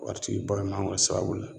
Waritigi ba mangoro sababu la